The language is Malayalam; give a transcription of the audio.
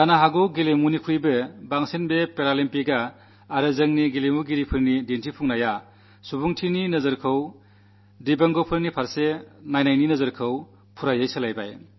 ഒരു പക്ഷേ കളിയെക്കാളധികം പാരാഒളിമ്പിക്സും നമ്മുടെ കളിക്കാരുടെ നേട്ടവും മനുഷ്യത്ത്വവീക്ഷണത്തെ ദിവ്യാംഗത്തോടുള്ള വീക്ഷണത്തെ തീർത്തും മാറ്റിമറിച്ചിരിക്കുന്നു